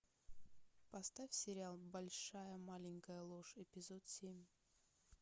поставь сериал большая маленькая ложь эпизод семь